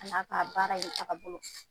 A y'a ka baara in tagabolo